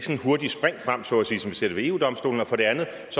hurtige spring frem så at sige som vi ser det ved eu domstolen og for det andet